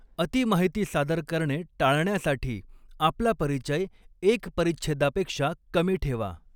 अति माहिती सादर करणे टाळण्यासाठी आपला परिचय एक परिच्छेदापेक्षा कमी ठेवा.